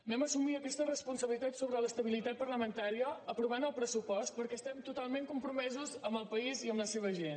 vam assumir aquesta responsabilitat sobre l’estabilitat parlamentària aprovant el pressupost perquè estem totalment compromesos amb el país i amb la seva gent